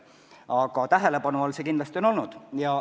Aga tähelepanu all see küsimus kindlasti on olnud.